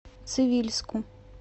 цивильску